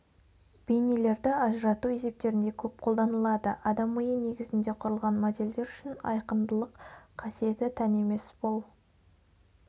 бейнелерді ажырату есептерінде көп қолданылады адам миы негізінде құрылған модельдер үшін айқындылық қасиеті тән емес бұл